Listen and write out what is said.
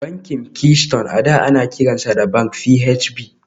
Bankin Keystone a da ana kiransa da Bank PHB